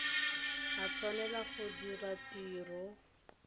a tshwanela go dira tiro